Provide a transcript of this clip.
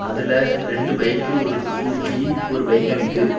அதுல ரெண்டு பைக் ஒரு ஸ்கூட்டி ஒரு பைக்க நிக்கு